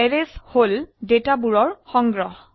arrays হল ডেটাৰ সংগ্ৰহ